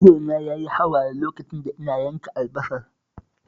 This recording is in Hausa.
Ido na yayi hawaye lokacin da ina yanka albasar